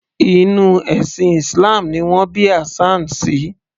Inú ẹ̀sìn islam ni wọn bí Hassan sí